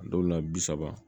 Dɔw la bi saba